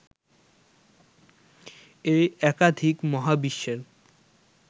এই একাধিক মহাবিশ্বের